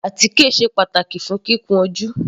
Àtíkè sé pàtàkì fún kíkun ojú.